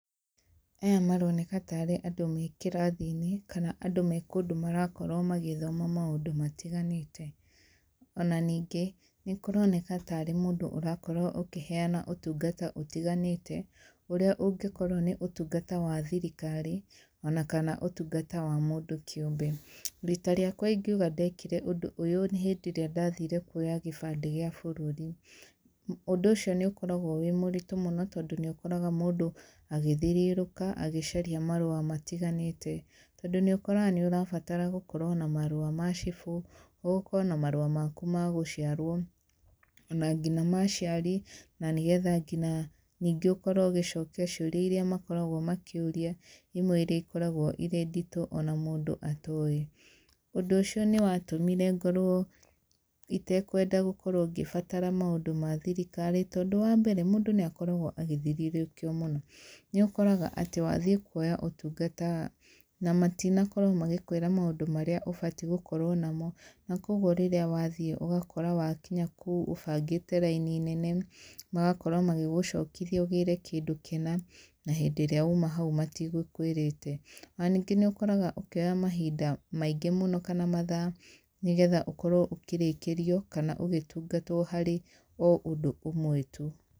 Aya maroneka ta aarĩ andũ me kĩrathi-inĩ, kana andũ me kũndũ marakorwo magĩthoma maũndũ matiganĩte. Ona ningĩ, nĩ kũronekana ta aarĩ mũndũ ũrakorwo ũkĩheana ũtungata ũtiganĩte, ũrĩa ũngĩkorwo nĩ ũtungata wa thirikari, ona kana ũtungata wa mũndũ kĩũmbe. Riita rĩakwa ingiuga ndekĩre ũndũ ũyũ, nĩ hĩndĩ ĩrĩa ndathiire kuoya gĩbandĩ gĩa bũrũri. Ũndũ ũcio nĩ ũkoragwo wĩ mũritũ mũno, tondũ nĩ ũkoraga mũndũ agĩthiũrũrũka, agĩcaria marũa matiganĩte. Tondũ nĩ ũkoraga nĩ ũrabatara gũkorwo na marũa ma cibũ, ũkorwo na marũa maku ma gũciarwo, ona ngina ma aciari, na nĩgetha ngina ningĩ ũkorwo ũgĩcokia ciũria irĩa makoragwo makĩũria, imwe irĩa ikoragwo irĩa nditũ ona mũndũ atoĩ. Ũndũ ũcio nĩ watũmĩre ngorwo itekwenda gũkorwo ngĩbatara maũndũ ma thirikari. Tondũ wa mbere, mũndũ nĩ akoragwo agĩthiũrũrũkio mũno. Nĩ ũkoraga atĩ wathiĩ kuoya ũtungata, na matinakorwo magĩkwĩra maũndũ marĩa ũbati gũkorwo namo, na kũguo rĩrĩa wathiĩ ũgakora wakinya kũu, ũbangĩte raini nene, magakorwo magĩgũcokithia ũgĩre kĩndũ kĩna, na hĩndĩ ĩrĩa uuma hau matigũkũĩrĩte. Ona ningĩ nĩ ũkoraga ũkĩoya mahinda maingĩ mũno kana mathaa, nĩgetha ũkorwo ũkĩrĩkĩrio, kana ũgĩtungatwo harĩ o ũndũ ũmwe tu.